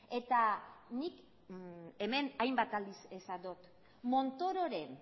eta nik hemen hainbat aldiz esan dut montororen